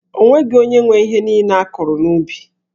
O nweghị onye nwe ihe niile a kụrụ n'ubi.